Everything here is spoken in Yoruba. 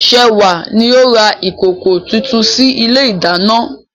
Sewa ni ó ra ìkòkò tuntun sí ilé ìdáná.